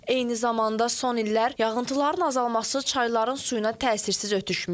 Eyni zamanda son illər yağıntıların azalması çayların suyuna təsirsiz ötüşməyib.